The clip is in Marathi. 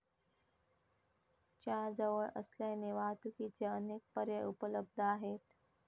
च्या जवळ असल्याने वाहतुकीचे अनेक पर्याय उपलब्ध आहेत.